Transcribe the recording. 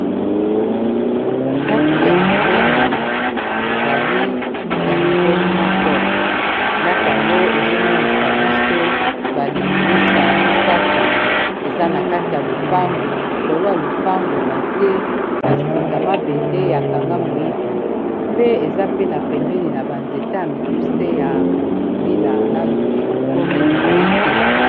Ddako ya monene ezali ya nivo moko ndako yango ezomonisa biso balininisa misato eza na kati ya lupangu likolo ya lopango batie basinga mabende ya kanga moyibi pe eza pena pembeni na banzeta ya mikuse ya mbila nanu ekomi mulai te.